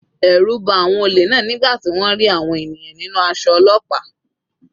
Ẹ̀rù ba àwọn olè náà nígbà tí wọ́n rí àwọn ènìyàn nínú aṣọ ọlọ́pàá.